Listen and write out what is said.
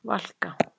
Valka